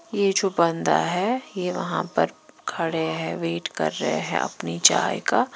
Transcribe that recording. यह जो बंदा है यह वहां पर खड़े हैं वेट कर रहे हैं अपनी चाय का--